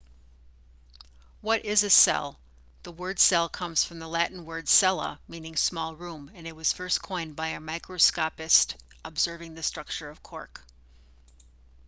what is a cell the word cell comes from the latin word cella meaning small room and it was first coined by a microscopist observing the structure of cork